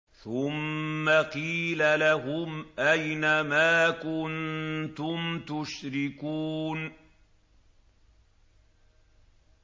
ثُمَّ قِيلَ لَهُمْ أَيْنَ مَا كُنتُمْ تُشْرِكُونَ